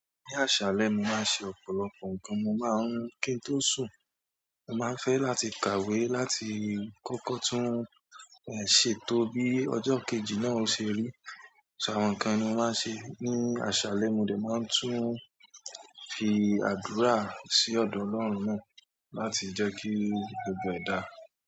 Ni asale mo maa n se ọ̀pọ̀lọpọ̀ nkan mo maa n ki n to sun. Mo máa fẹ́ láti kàwé láti kókó tún ẹ̀ ṣètò bí ọjọ́ kejì náà ṣe rí. So àwọn nǹkan ni mo máa ṣe ní àṣálẹ́, mo dè máa tún fi àdúrà sí ọ̀dọ̀ Ọlọ́run náà láti jẹ́ kí gbogbo ẹ̀ daá.